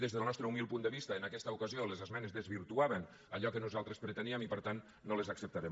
des del nostre humil punt de vista en aquesta ocasió les esmenes desvirtuaven allò que nosaltres preteníem i per tant no les acceptarem